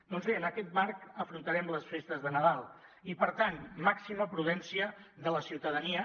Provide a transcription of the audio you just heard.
doncs bé en aquest marc afrontarem les festes de nadal i per tant màxima prudència de la ciutadania